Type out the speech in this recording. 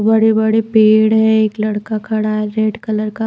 बड़े-बड़े पेड़ है एक लड़का खड़ा है रेड कलर का--